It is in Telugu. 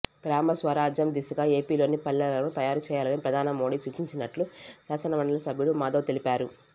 గ్రామస్వరాజ్యం దిశగా ఏపీలోని పల్లెలను తయారు చేయాలని ప్రధాని మోడీ సూచించినట్లు శాసనమండలి సభ్యుడు మాధవ్ తెలిపారు